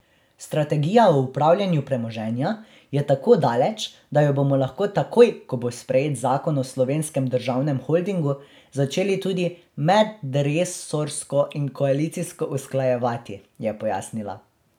Strategija o upravljanju premoženja je tako daleč, da jo bomo lahko takoj, ko bo sprejet zakon o slovenskem državnem holdingu, začeli tudi medresorsko in koalicijsko usklajevati, je pojasnila.